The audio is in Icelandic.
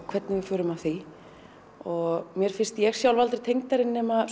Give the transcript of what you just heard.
hvernig við förum að því og mér finnst ég sjálf aldrei tengdari nema